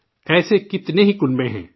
ایسے کتنے ہی کنبے ہیں